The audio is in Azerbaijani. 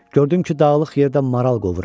Gördüm ki, dağlıq yerdə maral qovuram.